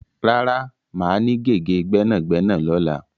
Rárá, máa ní gègé gbẹ́nàgbẹ́nà lọ́la.